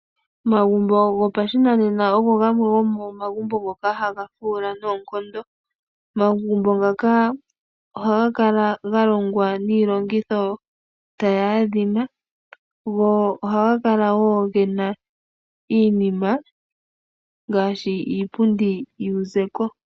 Omagumbo gopashinanena ogo gamwe gomomagumbo ngono haga fuula noonkondo. Omagumbo ngaka ohaga kala galongwa niilongitho tayi adhima, go ohaga kala woo gena iinima ngaashi iipundi yopashinanena.